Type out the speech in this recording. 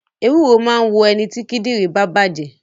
Ewúro máa ń wo ẹniti kíndìnrín bá bàjé